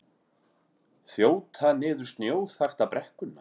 Þjóta niður snjóþakta brekkuna